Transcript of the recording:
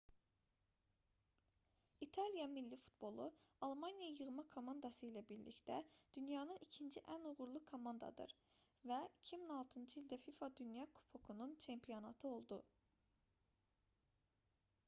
i̇taliya milli futbolu almaniya yığma komandası ilə birlikdə dünyanın ikinci ən uğurlu komandadır və 2006-cı ildə fifa dünya kubokunun çempionatı oldu